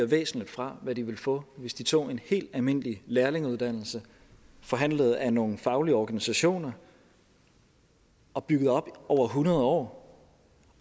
væsentligt fra hvad de ville få hvis de tog en helt almindelig lærlingeuddannelse forhandlet af nogle faglige organisationer og bygget op over hundrede år